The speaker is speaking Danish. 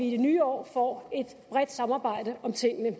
i det nye år får et bredt samarbejde om tingene